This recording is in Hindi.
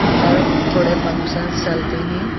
अंदर थोड़े फंक्शंस चलते हैं।